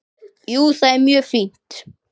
Jú, það er mjög fínt.